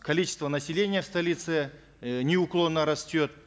количество населения в столице э неуклонно растет